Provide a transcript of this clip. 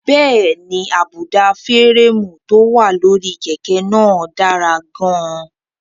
Bẹ́ẹ̀ni, àbùdá férémù tó wà lórí kẹ̀kẹ́ náà dára gan-an.